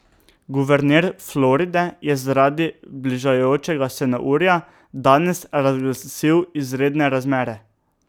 Guverner Floride je zaradi bližajočega se neurja danes razglasil izredne razmere.